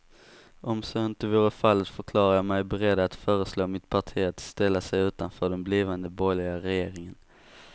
Om så inte vore fallet förklarade jag mig beredd att föreslå mitt parti att ställa sig utanför den blivande borgerliga regeringen.